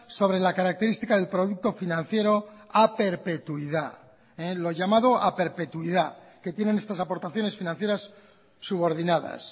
sobre la característica del producto financiero a perpetuidad lo llamado a perpetuidad que tienen estas aportaciones financieras subordinadas